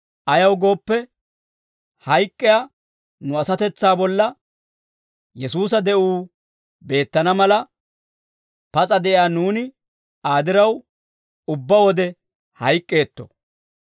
Ayaw gooppe, hayk'k'iyaa nu asatetsaa bolla Yesuusa de'uu beettana mala, pas'a de'iyaa nuuni Aa diraw, ubbaa wode hayk'k'eetto.